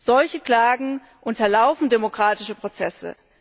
Solche Klagen unterlaufen demokratische Prozesse.